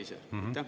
Aitäh!